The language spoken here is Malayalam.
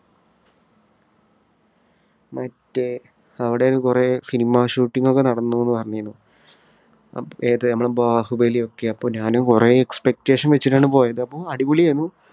മറ്റ് അവിടെ കുറേ cinema shooting ഒക്കെ നടന്നു എന്നു പറഞ്ഞിനി. ഏത് നമ്മുടെ ബാഹുബലി ഒക്കെ. അപ്പോ ഞാൻ കുറേ expectation വച്ചിട്ടാണ് പോയത്. അപ്പോ അടിപൊളിയായിരുന്നു.